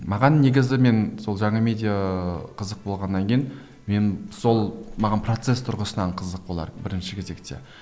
маған негізі мен сол жаңа медиа қызық болғаннан кейін мен сол маған процесс тұрғысынан қызық олар бірінші кезекте